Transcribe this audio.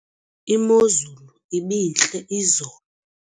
imozulu ibintle izolo